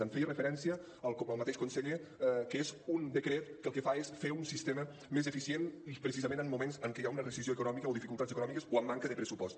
hi feia referència el mateix conseller que és un decret que el que fa és fer un sistema més eficient precisament en moments en què hi ha una recessió econòmica o dificultats econòmiques o amb manca de pressupost